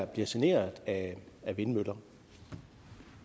bliver generet af vindmøller